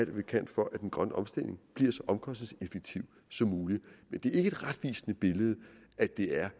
vi kan for at den grønne omstilling bliver så omkostningseffektiv som muligt men det er ikke et retvisende billede at det er